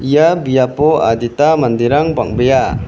ia biapo adita manderang bang·bea.